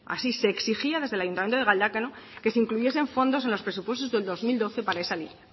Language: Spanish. así se exigía desde el ayuntamiento de galdakao que se incluyesen fondos en los presupuestos del dos mil doce para ese línea